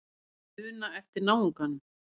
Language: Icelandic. Muna eftir náunganum.